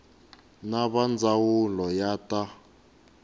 na va ndzawulo ya ta